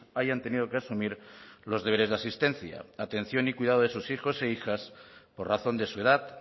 hayan tenido que asumir los deberes de asistencia atención y cuidado de sus hijos e hijas por razón de su edad